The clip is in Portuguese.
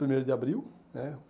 Primeiro de abril, né.